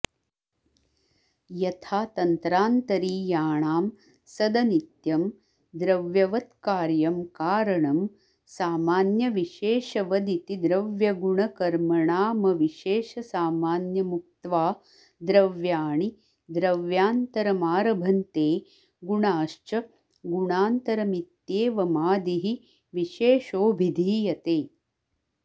यथा तन्त्रान्तरीयाणां सदनित्यं द्रव्यवत्कार्यं कारणं सामान्यविशेषवदिति द्रव्यगुणकर्मणामविशेषसामान्यमुक्त्वा द्रव्याणि द्रव्यान्तरमारभन्ते गुणाश्च गुणान्तरमित्येवमादिः विशेषोऽभिधीयते